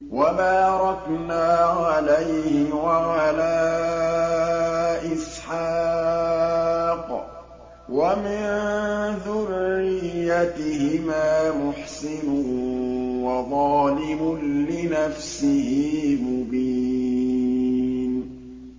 وَبَارَكْنَا عَلَيْهِ وَعَلَىٰ إِسْحَاقَ ۚ وَمِن ذُرِّيَّتِهِمَا مُحْسِنٌ وَظَالِمٌ لِّنَفْسِهِ مُبِينٌ